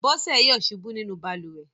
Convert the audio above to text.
Bọ́sẹ̀ yọ̀ ṣubú nínú balùwẹ̀.